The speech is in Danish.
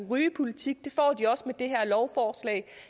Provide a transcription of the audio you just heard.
rygepolitik og det her lovforslag